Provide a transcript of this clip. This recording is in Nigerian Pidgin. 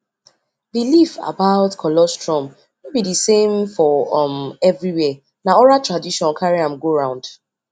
um i no sabi that much about sti test till i come ask my real doctor